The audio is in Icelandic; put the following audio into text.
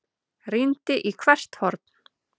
Rýndi í hvert horn.